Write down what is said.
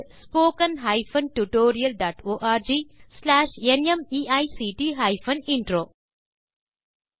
spoken hyphen tutorial dot org slash நிமைக்ட் hyphen intro மூல பாடம் தேசி க்ரூ சொலூஷன்ஸ்